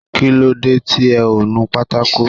Kílódé tí ẹ ò nu pátákò